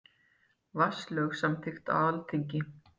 Vatnalög samþykkt á Alþingi.